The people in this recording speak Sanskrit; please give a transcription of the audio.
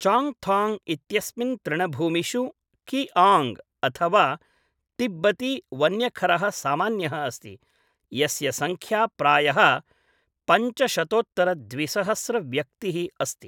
चाङ्गथाङ्ग् इत्यस्मिन् तृणभूमिषु किआङ्ग् अथवा तिब्बती वन्यखरः सामान्यः अस्ति, यस्य संख्या प्रायः पञ्च शतोत्तर द्विसहस्र व्यक्तिः अस्ति।